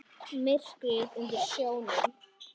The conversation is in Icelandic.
Myrkrið undir sjónum.